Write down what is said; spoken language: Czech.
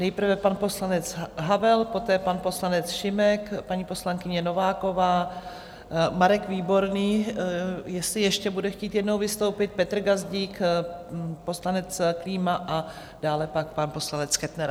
Nejprve pan poslanec Havel, poté pan poslanec Šimek, paní poslankyně Nováková, Marek Výborný, jestli ještě bude chtít jednou vystoupit, Petr Gazdík, poslanec Klíma a dále pak pan poslanec Kettner.